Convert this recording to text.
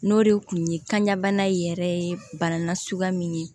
N'o de kun ye kan bana in yɛrɛ ye bana na suguya min ye